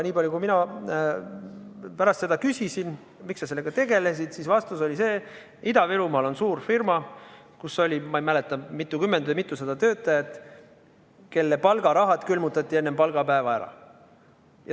Nii palju kui mina pärast küsisin, miks ta sellega tegeles, oli vastus see, et Ida-Virumaal on suur firma, kus oli, ma ei mäleta, mitukümmend või mitusada töötajat, kelle palgaraha enne palgapäeva külmutati.